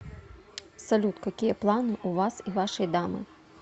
салют какие планы у вас и вашей дамы